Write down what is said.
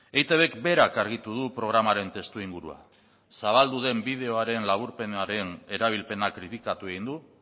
eitbk berak argitu du programaren testuingurua zabaldu den bideoaren laburpenaren erabilpena kritikatu egin du